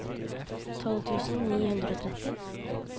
tolv tusen ni hundre og tretti